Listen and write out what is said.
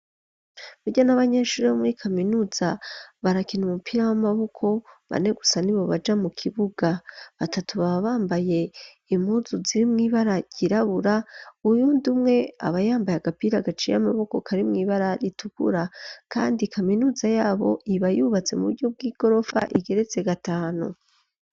Barya n'abanyeshuri bo muri kaminuza barakina umupira w'amaboko, bane gusa nibo baja mu kibuga, batatu baba bambaye impuzu zirimw'ibara yirabura, uyundi umwe abayambaye agapira gaciy'amaboko kari mw'ibara ritukura. Kandi kaminuza yabo iba yubatse mu buryo bw'igorofa igeretse gatanu.